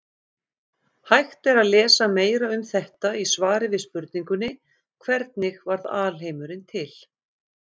Hægt er að lesa meira um þetta í svari við spurningunni Hvernig varð alheimurinn til?